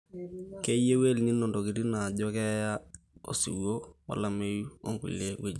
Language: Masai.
keyau El nino ntokitin naajo keeya, osiwuo wolameyu too nkulie wuejitin